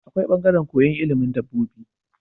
Akwai bangaran koyan ilimin dabobi